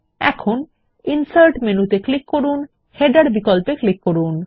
এখন ইনসার্ট মেনুতে ক্লিক করুন এবং তারপর হেডার বিকল্পে ক্লিক করুন